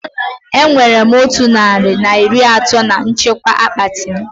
Enwere otu narị na iri atọ na nchekwa akpati m